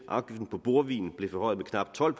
afgiften på bordvin blev forhøjet med knap tolv